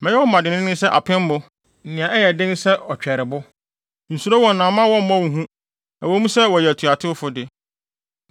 Mɛyɛ wo moma dennen sɛ apemmo, nea ɛyɛ den sen ɔtwɛrebo. Nsuro wɔn na mma wɔmmɔ wo hu, ɛwɔ mu sɛ wɔyɛ atuatewfo de.”